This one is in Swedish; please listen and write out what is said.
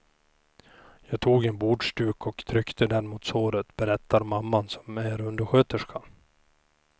Jag tog en bordsduk och tryckte den mot såret, berättar mamman som är undersköterska.